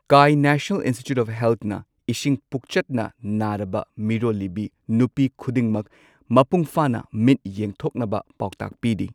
ꯀꯥꯢ national institute of ꯍꯦꯜꯊꯅ ꯏꯁꯤꯡ ꯄꯨꯛꯆꯠꯅ ꯅꯥꯔꯕ ꯃꯤꯔꯣꯜꯂꯤꯕꯤ ꯅꯨꯄꯤ ꯈꯨꯗꯤꯡꯃꯛ ꯃꯄꯨꯡ ꯐꯥꯅ ꯃꯤꯠ ꯌꯦꯡꯊꯣꯛꯅꯕ ꯄꯥꯎꯇꯥꯛ ꯄꯤꯔꯤ꯫